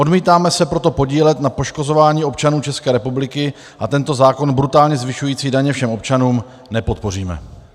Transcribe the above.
Odmítáme se proto podílet na poškozování občanů České republiky a tento zákon brutálně zvyšující daně všem občanům nepodpoříme.